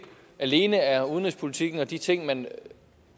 alene er udenrigspolitikken og de ting man